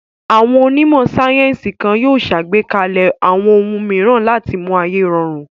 Àwọn onímọ̀ sáyẹ́ńsì kan yóò ṣàgbékalẹ̀ àwọn ohun mìíràn láti mú ayé rọrùn.